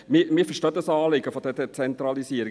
Wir verstehen das Anliegen der Dezentralisierung.